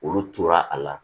Olu tora a la